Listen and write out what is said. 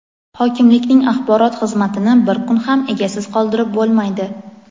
Hokimlikning Axborot xizmatini bir kun ham egasiz qoldirib bo‘lmaydi.